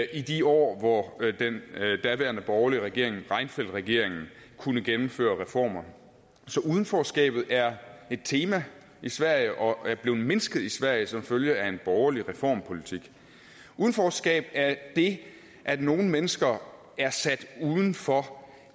i de år hvor den daværende borgerlige regering reinfeldtregeringen kunne gennemføre reformer så udenforskabet er et tema i sverige og er blevet mindsket i sverige som følge af en borgerlig reformpolitik udenforskab er det at nogle mennesker er sat uden for